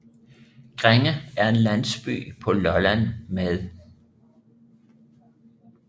Grænge er en landsby på Lolland med